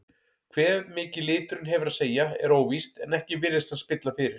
Hve mikið liturinn hefur að segja er óvíst en ekki virðist hann spilla fyrir.